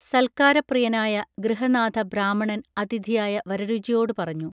സൽക്കാരപ്രിയനായ ഗ്യഹനാഥബ്രാഹാമണൻ അതിഥിയായ വരരുചിയോടു പറഞ്ഞു